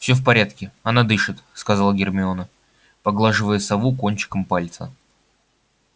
всё в порядке она дышит сказала гермиона поглаживая сову кончиком пальца